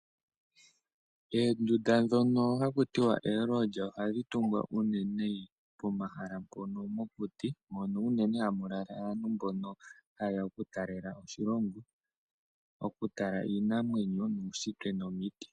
Oondunda ndhoka haku tiwa oololya ohadhi tungwa unene pomahala mpono mokuti mono unene hamu lala aantu haye ya okutalela po oshilonga, okutala iinamwenyo, uunshitwe nomiti.